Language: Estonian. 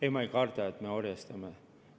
Ei, ma ei karda, et me ennast orjastame.